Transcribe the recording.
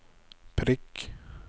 prikk